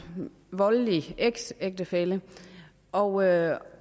voldelig eksægtefælle og